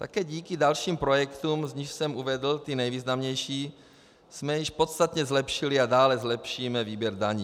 Také díky dalším projektům, z nichž jsem uvedl ty nejvýznamnější, jsme již podstatně zlepšili a dále zlepšíme výběr daní.